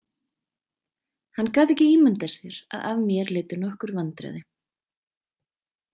Hann gat ekki ímyndað sér að af mér leiddu nokkur vandræði.